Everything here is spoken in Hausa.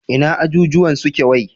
Ina ajujjuwan suke wai?